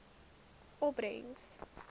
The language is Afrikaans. opbrengs